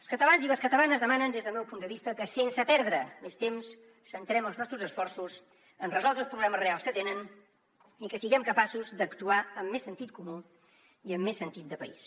els catalans i les catalanes demanen des del meu punt de vista que sense perdre més temps centrem els nostres esforços en resoldre els problemes reals que tenen i que siguem capaços d’actuar amb més sentit comú i amb més sentit de país